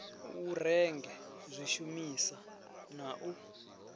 u renge zwishumisa na u